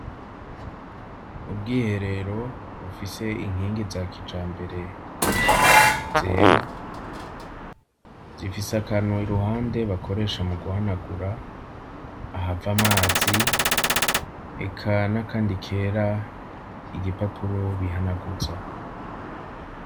Ubwiherero bufise inkingi za kijambere zera zifise akantu iruhande bakoresha mu guhanagura ahava amazi eka n'a kandi kera igipapuro bihanaguza.